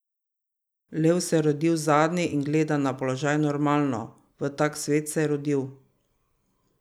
Lev se je rodil zadnji in gleda na položaj normalno, v tak svet se je rodil.